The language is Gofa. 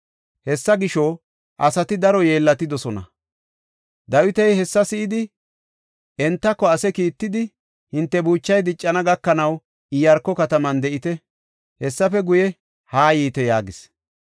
Hessa gisho, asati daro yeellatidosona. Dawiti hessa si7idi, entara asi kiittidi, “Hinte buuchay diccana gakanaw Iyaarko kataman de7ite; hessafe guye haa yiite” yaagis.